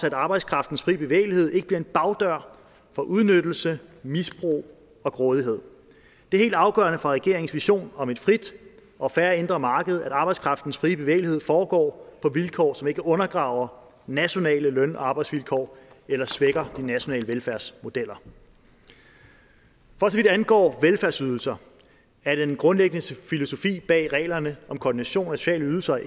at arbejdskraftens fri bevægelighed ikke bliver en bagdør for udnyttelse misbrug og grådighed det er helt afgørende for regeringens vision om at frit og fair indre marked at arbejdskraftens fri bevægelighed foregår på vilkår som ikke undergraver nationale løn og arbejdsvilkår eller svækker de nationale velfærdsmodeller for så vidt angår velfærdsydelser er den grundlæggende filosofi bag reglerne om koordination af sociale ydelser